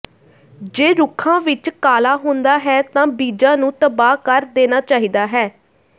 ਜੇ ਰੁੱਖਾਂ ਵਿੱਚ ਕਾਲਾ ਹੁੰਦਾ ਹੈ ਤਾਂ ਬੀਜਾਂ ਨੂੰ ਤਬਾਹ ਕਰ ਦੇਣਾ ਚਾਹੀਦਾ ਹੈ